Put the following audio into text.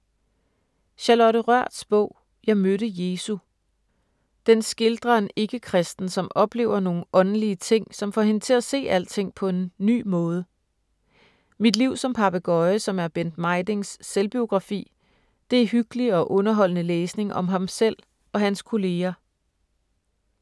Charlotte Rørths bog ”Jeg mødte Jesu”. Den skildrer en ikke-kristen, som oplever nogle åndelig ting, som får hende til at se alting på en ny måde. Mit liv som papegøje, som er Bent Mejdings selvbiografi, det er hyggelig og underholdende læsning om ham selv og hans kolleger.